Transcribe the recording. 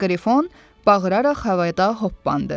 Qrifon bağıraraq havada hoppandı.